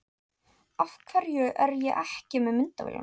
Af hverju er ég ekki með myndavélina?